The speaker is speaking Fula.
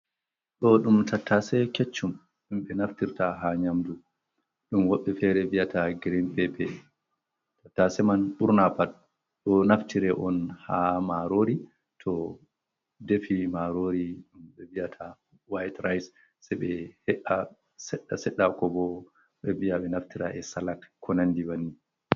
Ɗo ɗum tattaase keccum ɗum ɓe naftirta haa nyamndu, ɗum waɓɓe feere bi'ata girin peepe, tattaase man ɓurna pat ɗo naftire on haa maaroori, to defi maaroori ɗum ɓe bi’ata waayit rays ɓe he`a seɗɗa-seɗɗa, ko bo ɓe biya ɓe naftira e salak konanndi banni.